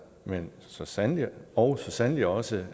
og så sandelig også sandelig også